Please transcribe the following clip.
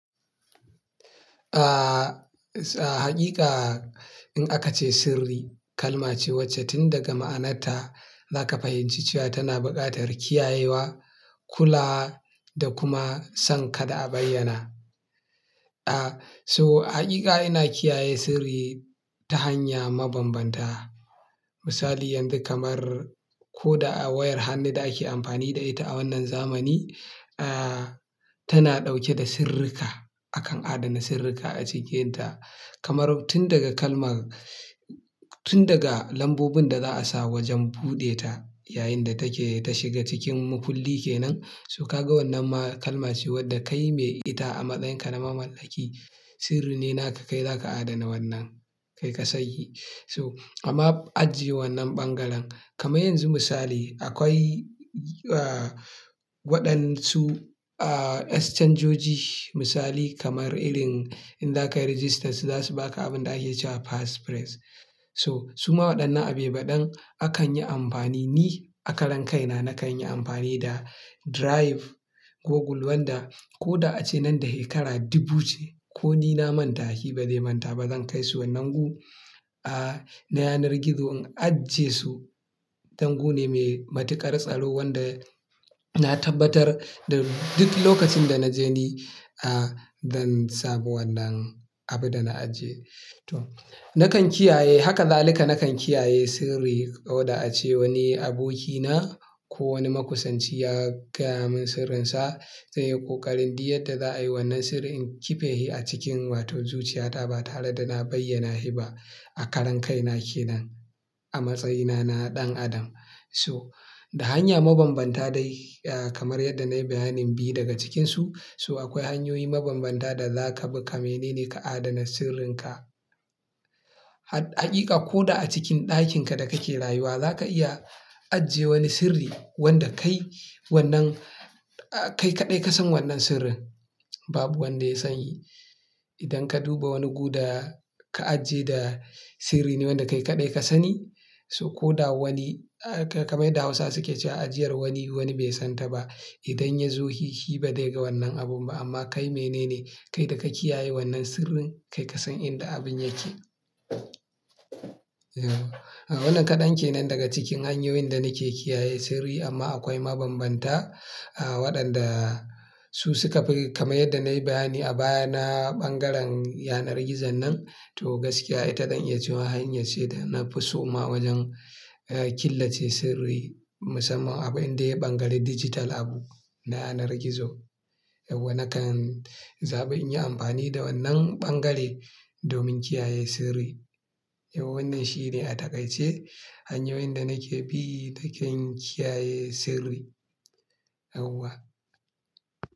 Ah, haƙiƙa in aka ce sirri, kalma ce wacce tun daga ma'anarta za ka fahimci cewa tana buƙatar kiyayewa, kula da kuma san kada a bayyana. Ah, so hakika ina kiyaye sirri ta hanya mabambanta. Misali yanzu kamar ko da awayar hannu da ake amfani da ita a wannan zamani, ah, tana ɗauke da sirrika. Akan adana sirrika a cikinta. Kamar tun daga kalma tun daga lambobin da za a sa wajen buɗe ta yayin da take ta shiga cikin makulli ke nan. So ka ga wannan ma kalma ce wadda kai mai ita a matsayinka na mamallaki, sirri ne naka kai za ka adana wannan kai ka sanhi. So amma ajiye wannan ɓangaren. Kamar yanzu misali akwai, ah, waɗansu, ah, excanjoji misali kamar irin in za ka yi registersu za su ba ka abin da ake cewa pass phrase. So su ma waɗannan abuibaɗan akan yi amfani, ni a karan kai na nakan yi amfani da drive Google wanda ko da ace nan da hekara dubu ce ko ni na manta shi ba zai manta ba. Zan kai su wannan gu, ah, na yanar gizo in ajiye su. Dan gu ne mai matuƙar tsaro wanda na tabbatar da duk lokacin da na je ni, ah, zan samu wannan abin da na ajiye. To nakan kiyaye, haka zalika nakan kiyaye sirri ko da ace wani abokina ko wani makusanci ya gaya mun sirrinsa zai yi ƙoƙari duk yadda za a yi wannan sirri in kife shi a cikin wato zuciyata ba tare da na bayyana shi ba a karan kai na kenan a matsayina na ɗan adam. So da hanya mabambanta dai, ah, kamar yadda na yi bayanin biyu daga cikinsu. So akwai hanyoyi mabambanta da za ka bi ka mene ne ka adana sirrinka. Haƙiƙa ko da a cikin ɗakinka da kake rayuwa za ka iya ajiye wani sirri wanda kai wannan, ah, kai kaɗai ka san wannan sirrin. Babu wanda ya sanhi. Idan ka duba wani guda ka ajiye da sirri ne wanda kai kaɗai ka sani. So ko da wani, ah, kamar yadda da Hausa suke cewa ajiyar wani, wani bai san ta ba. Idan ya zo shi, shi ba dai ga wannan abun ba amma kai mene ne, kai da ka kiyaye wannan sirrin kai ka san inda abun yake. Yau wannan kaɗan ke nan daga cikin hanyoyin da nake kiyaye sirri amma akwai mabambanta, ah, waɗanda su suka fi kamar yadda na yi bayani a baya na ɓangaren yanar gizon nan. To gaskiya ita zan iya cewa hanya ce da na fi so ma wajen, ah, killace sirri musamman abin da ya ɓangare dijital abu na yanar gizo. Yauwa nakan zabi in yi amfani da wannan ɓangare domin kiyaye sirri. Yauwa wannan shine a takaice hanyoyin da nake bi na kan kiyaye sirri. Yauwa.